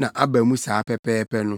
na aba mu saa pɛpɛɛpɛ no.